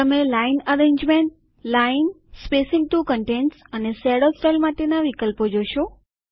તમે line arrangement line spacing to contents અને shadow style માટેના વિકલ્પો જોશો